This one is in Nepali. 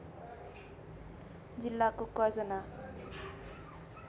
जिल्लाको कर्जन्हा